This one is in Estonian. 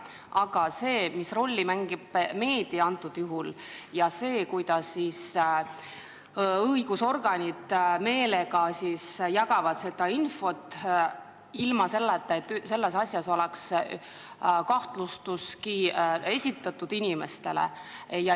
Aga mis rolli mängib antud juhul meedia ja see, kuidas õigusorganid meelega jagavad infot, ilma et asjas oleks kahtlustustki inimestele esitatud?